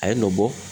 A ye nɔ bɔ